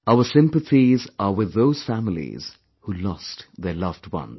Our sympathies are with those families who lost their loved ones